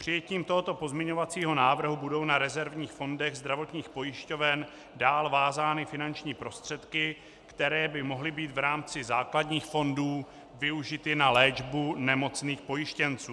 Přijetím tohoto pozměňovacího návrhu budou na rezervních fondech zdravotních pojišťoven dál vázány finanční prostředky, které by mohly být v rámci základních fondů využity na léčbu nemocných pojištěnců.